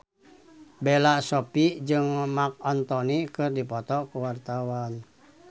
Bella Shofie jeung Marc Anthony keur dipoto ku wartawan